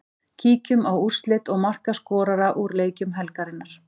Kíkjum á úrslit og markaskorara úr leikjum helgarinnar.